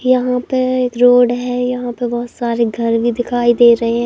यहां पे रोड है यहां पे बहोत सारे घर भी दिखाई दे रहे हैं।